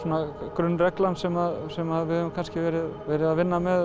grunnreglan sem sem við höfum verið að vinna með